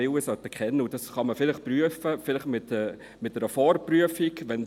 Dies kann man vielleicht mit einer Vorprüfung prüfen.